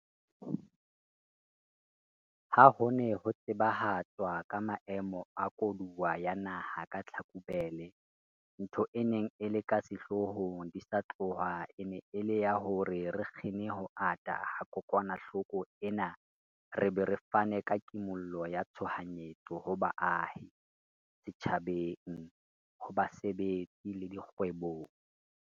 Ha ho ne ho tsebahatswa ka Maemo a Koduwa ya Naha ka Tlhakubele, ntho e neng e le ka sehloohong di sa tloha e ne e le ya hore re kgine ho ata ha kokwanahloko ena re be re fane ka kimollo ya tshoha nyetso ho baahi, setjhabeng, ho basebetsi le dikgwebong.